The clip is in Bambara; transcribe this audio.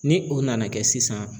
Ni o nana kɛ sisan.